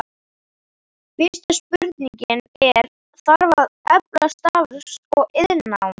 Fyrsta spurningin er, þarf að efla starfs- og iðnnám?